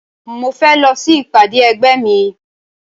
Mo fẹ́ lọ sí ìpàdé ẹgbẹ́ mi